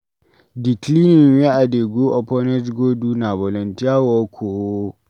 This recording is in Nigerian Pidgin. Di cleaning wey I dey go orphanage go do na volunteer work o.